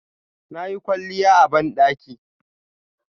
Nayi kwalliya a bandaki